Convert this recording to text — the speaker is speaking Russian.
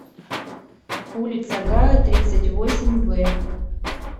улица гая тридцать восемь в